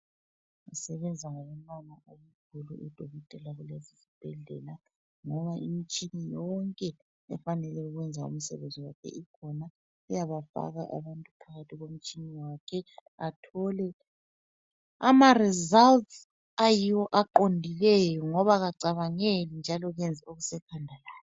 Basebenza ngobunono obukhulu kubhilide lakulesisibhedlela, ngoba imitshina yonke efanele ukwenza umsebenzi wonke ikhona. Iyabafaka phakathi komtshina wakhe bathole ama results aqondileyo ngoba kacabangeli njalo kenzi okusekhanda lakhe.